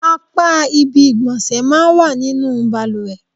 Apá ibi ìgbọ̀nsẹ̀ máa ń wà nínú bàlùwẹ̀.